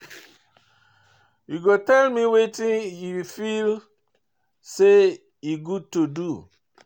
You go tell me wetin you feel say e good to do?